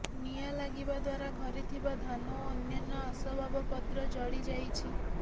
ନିଆଁ ଲାଗିବା ଦ୍ୱାରା ଘରେ ଥିବା ଧାନ ଓ ଅନ୍ୟାନ୍ୟ ଆସବାବପତ୍ର ଜଳିଯାଇଛି